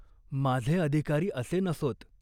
"माझे अधिकारी असे नसोत.